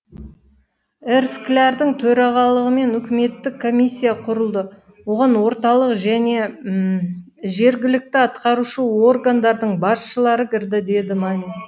р склярдің төрағалығымен үкіметтік комиссия құрылды оған орталық және жергілікті атқарушы органдардың басшылары кірді деді мамин